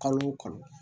Kalo o kalo